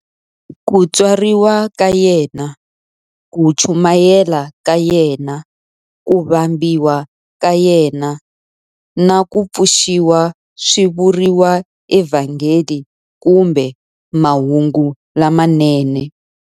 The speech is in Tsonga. Ku tswariwa ka yena, ku chumayela ka yena, ku vambiwa ka yena, na ku pfuxiwa swi vuriwa eVhangeli kumbe Mahungu lamanene.